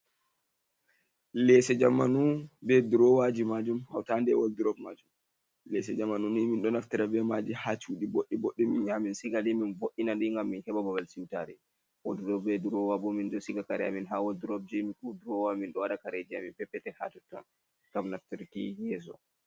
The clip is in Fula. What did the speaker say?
Lese jamanu be drowaji majum, hautande woldrop majum, lese jamanuni min ɗo naftira be maji ha cuɗi boɗɗi, boɗɗi, min yamin sigaɗi min vo’ina ɗi ngam min heɓa babal siwtare. Woldrop be durowa bo min ɗo siga kare a min ha wadrop ji, durowa min ɗo waɗa kareji a min peppetel ha totton gam naftirki yeso.